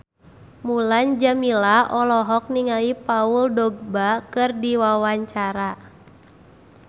Mulan Jameela olohok ningali Paul Dogba keur diwawancara